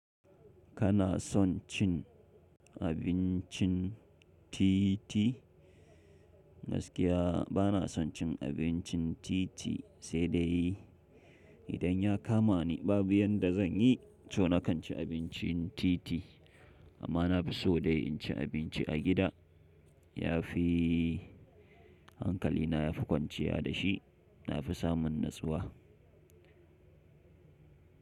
Kana son cin abincin titi? Gaskiya bana son cin abincin titi, sai dai. Idan ya kama ni babu yanda zan yi, to nakan ci abincin titi. Amma na fi so dai in ci abinci a gida. Yafi hankali na yafi kwanciya da shi. Na fi samun natsuwa.